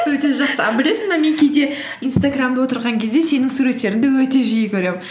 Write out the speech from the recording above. өте жақсы а білесің бе мен кейде инстаграммда отырған кезде сенің суреттеріңді өте жиі көремін